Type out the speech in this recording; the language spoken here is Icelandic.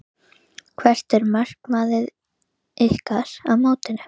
Hvert er markmið ykkar á mótinu?